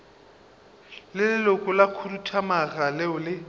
leloko la khuduthamaga leo le